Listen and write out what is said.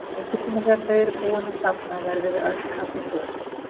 Einhvern tíma þegar þau eru búin að safna verðum við öll kaffibrún.